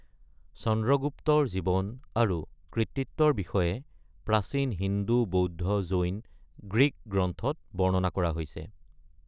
চন্দ্ৰগুপ্তৰ জীৱন আৰু কৃতিত্বৰ বিষয়ে প্ৰাচীন হিন্দু, বৌদ্ধ, জৈন, গ্ৰীক গ্ৰন্থত বৰ্ণনা কৰা হৈছে।